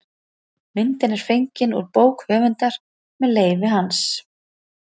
Myndin er fengin út bók höfundar með leyfi hans.